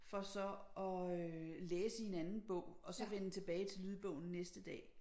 For så at øh læse i en anden bog og så vende tilbage til lydbogen næste dag